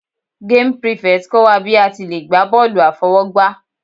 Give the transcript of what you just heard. Game prefect kọ́ wa bí a ti le gbá bọ́ọ̀lù àfọwọ́gbá.